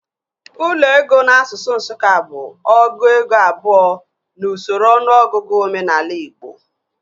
Ụlọ ego n'asụsụ Nsụka bụ ọgụ ego abụọ n'usoro ọnụọgụgụ omenaala igbo